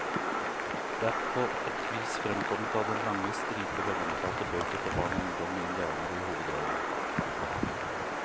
Det er på et vis fremkommet av den lange stripe velomtalte bøker for barn og ungdom med indianere i hovedrollen.